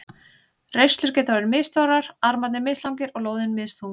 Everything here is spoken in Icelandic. Reislur geta verið misstórar, armarnir mislangir og lóðin misþung.